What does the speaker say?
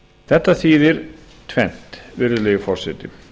þetta þýðir tvennt virðulegi forseti